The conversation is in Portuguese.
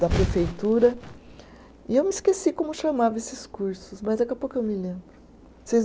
da prefeitura, e eu me esqueci como chamava esses cursos, mas daqui a pouco eu me lembro. Vocês